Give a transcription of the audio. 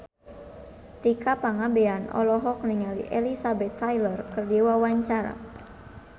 Tika Pangabean olohok ningali Elizabeth Taylor keur diwawancara